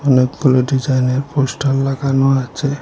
অনেকগুলো ডিজাইনের পোস্টার লাগানো আছে।